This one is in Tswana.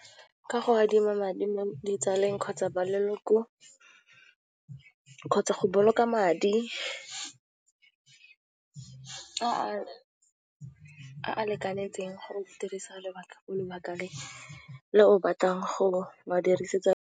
Ka go adima madi mo ditsaleng kgotsa ba leloko kgotsa go boloka madi a a lekanetseng gore o dirisa lebaka lebaka le, le o batlang go a dirisetsa.